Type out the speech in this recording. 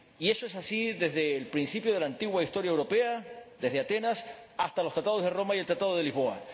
ha sido así desde el principio de la antigua historia europea, desde Atenas hasta los Tratados de Roma y el Tratado de Lisboa.